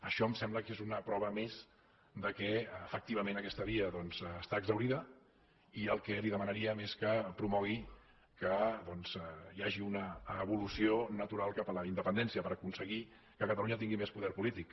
això em sembla que és una prova més que efectivament aquesta via està exhaurida i el que li demanaríem és que promogués que hi hagi una evolució natural cap a la independència per aconseguir que catalunya tingui més poder polític